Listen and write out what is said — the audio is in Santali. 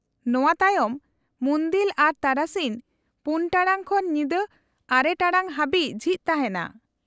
-ᱱᱚᱶᱟ ᱛᱟᱭᱚᱢ ᱢᱩᱱᱫᱤᱞ ᱟᱨᱚ ᱛᱟᱨᱟᱥᱤᱧ ᱔ ᱴᱟᱲᱟᱝ ᱠᱷᱚᱱ ᱧᱤᱫᱟᱹ ᱙ ᱴᱟᱲᱟᱝ ᱦᱟᱹᱵᱤᱡ ᱡᱷᱤᱡ ᱛᱟᱦᱮᱱᱟ ᱾